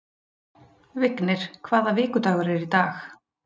Vignir, hvaða vikudagur er í dag?